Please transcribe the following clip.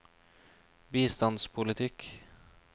bistandspolitikk